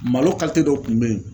Malo dɔw kun bɛ yen